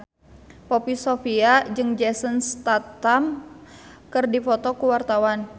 Poppy Sovia jeung Jason Statham keur dipoto ku wartawan